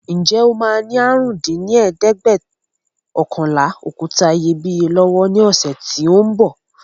Ǹjẹ́ o máa ní àrún dín ní ẹ̀ẹ́dẹ́gbẹ́ọ̀kànlá òkúta iyebíye lọ́wọ́ ní ọ̀sẹ̀ tí ó ń bọ̀